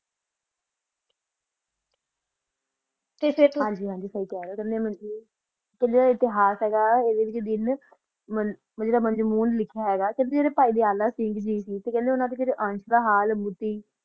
ਤਾ ਫਿਰ ਹਨ ਜੀ ਹਨ ਜੀ ਸਹੀ ਖਾ ਰਹਾ ਜਾ ਇਤਹਾਸ ਹ ਗਾ ਆ ਜਰਾ ਪੋਰ ਮਜ਼ਮੂਨ ਲਿਖਿਆ ਹੋਯਾ ਆ ਪਾਹਿ ਦੀ ਹਾਲਤ ਹ ਗੀ ਆ ਹਨ ਜੀ